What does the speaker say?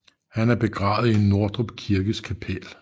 Han er begravet i Nordrup Kirkes kapel